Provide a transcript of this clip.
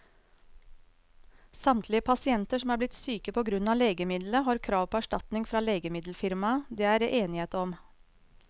Samtlige pasienter som er blitt syke på grunn av legemiddelet, har krav på erstatning fra legemiddelfirmaet, det er det enighet om.